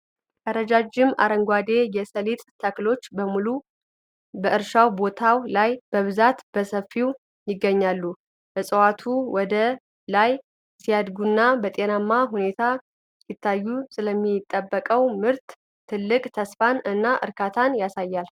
ረጃጅም አረንጓዴ የሰሊጥ ተክሎች በሙሉ በእርሻ ቦታው ላይ በብዛት በሰፊው ይገኛሉ። እፅዋቱ ወደ ላይ ሲያድጉና በጤናማ ሁኔታ ሲታዩ፣ ስለሚጠበቀው ምርት ትልቅ ተስፋን እና እርካታን ያሳያሉ።